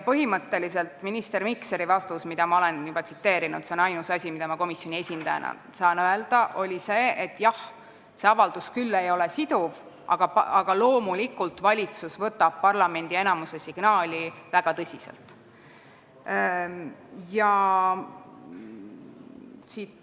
Põhimõtteliselt oli minister Mikseri vastus, mida ma olen juba tsiteerinud – see on ainus asi, mida ma komisjoni esindajana öelda saan –, selline, et see avaldus ei ole küll siduv, aga loomulikult võtab valitsus parlamendi enamuse signaali väga tõsiselt.